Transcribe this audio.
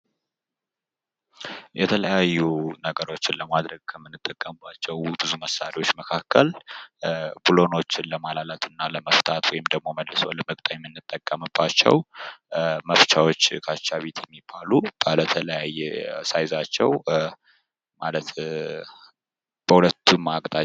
የተለያዩ ነገሮችን ለማድረግ ከምንጠቀምባቸው ብዙ መሳሪያዎች መካከል ቡለኖችን ለማላላት እና ለመፍታት ወይም ደግሞ መልሶ ለመግጠም የምንጠቀምባቸው መፍቻወች ካቻቢቴ የሚባሉ ባለተለያየ ሳይዛቸው ማለት በሁለቱም አቅጣጫ...